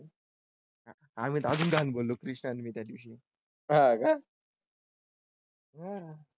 आम्ही तर अजून घाण बोल्लो कृष्णन मी त्या दिवशी हां का . हम्म.